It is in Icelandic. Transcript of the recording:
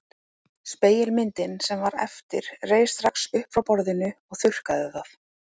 Spegilmyndin sem var eftir reis strax upp frá borðinu og þurrkaði það.